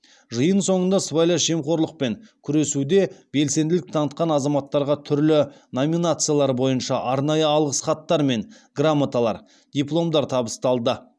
жиын соңында сыбайлас жемқорлықпен күресуде белсенділік танытқан азаматтарға түрлі номинациялар бойынша арнайы алғыс хаттар мен грамоталар дипломдар табысталды